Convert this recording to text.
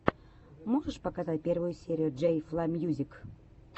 можешь показать первую серию джей фла мьюзик